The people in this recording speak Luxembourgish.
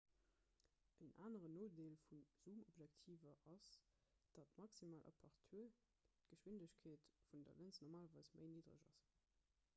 en aneren nodeel vu zoomobjektiver ass datt d'maximal apertur d'geschwindegkeet vun der lëns normalerweis méi niddereg ass